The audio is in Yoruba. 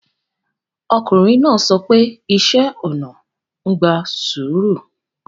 Ọkùnrin náà sọ pé iṣẹ́ ona ń gba sùúrù